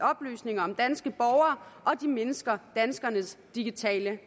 oplysninger om danske borgere og de mindsker danskernes digitale